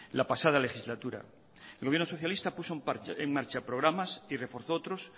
la pasada legislatura el gobierno socialista puso en marcha programas y reforzó otros